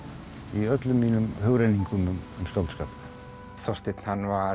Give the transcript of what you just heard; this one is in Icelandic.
í öllum mínum hugrenningum um skáldskap Þorsteinn hann var